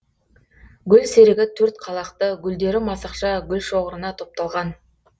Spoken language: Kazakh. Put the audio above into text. гүлсерігі төрт қалақты гүлдері масақша гүлшоғырына топталған